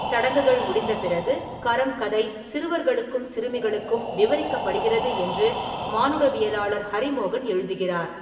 சடங்குகள் முடிந்த பிறகு, கரம் கதை சிறுவர்களுக்கும் சிறுமிகளுக்கும் விவரிக்கப்படுகிறது என்று மானுடவியலாளர் ஹரி மோகன் எழுதுகிறார்.